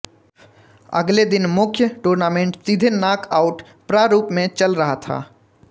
अगले दिन मुख्य टूर्नामेंट सीधे नाक आउट प्रारूप में चल रहा था